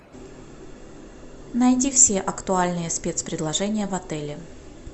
найди все актуальные спецпредложения в отеле